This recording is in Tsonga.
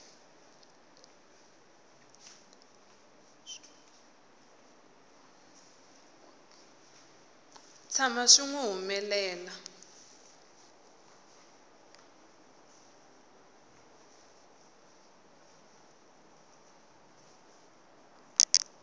tshama swi n wi humelela